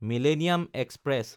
millennium express